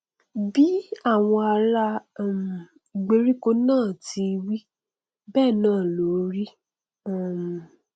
bí àwọn ará um ìgbèríko náà ti wí bẹẹ náà ló rí um